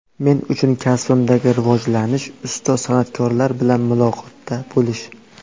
Men uchun kasbimdagi rivojlanish ustoz san’atkorlar bilan muloqotda bo‘lish.